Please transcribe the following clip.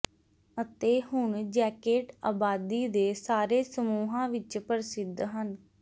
ਅਤੇ ਹੁਣ ਜੈਕੇਟ ਆਬਾਦੀ ਦੇ ਸਾਰੇ ਸਮੂਹਾਂ ਵਿੱਚ ਪ੍ਰਸਿੱਧ ਹਨ